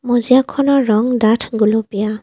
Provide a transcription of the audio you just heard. মজিয়াখনৰ ৰং ডাঠ গুলপীয়া।